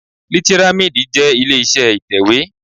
Lítírámídì jẹ́ ilé iṣẹ́ ìtẹ̀wé